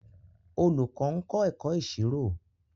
Olùkọ́ ń kọ́ ẹ̀kọ́ ìṣirò